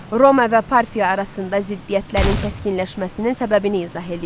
Roma və Parfiya arasında ziddiyyətlərin kəskinləşməsinin səbəbini izah eləyin.